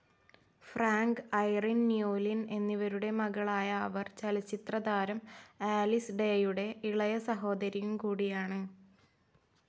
Frank, Irene Newlin എന്നിവരുടെ മകളായ അവർ ചലച്ചിത്രതാരം ആലിസ് ഡേയുടെ ഇളയ സഹോദരിയുംകൂടിയാണ്.